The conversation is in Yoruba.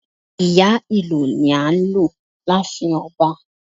Ìyá ìlù ni a n lù láàfin ọba